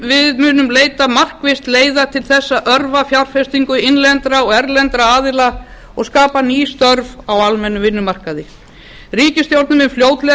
við munum leita markvisst leiða til þess að örva fjárfestingu innlendra og erlendra aðila og skapa ný störf á almennum vinnumarkaði ríkisstjórnin mun fljótlega